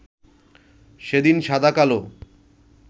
সেদিন সাদা-কালো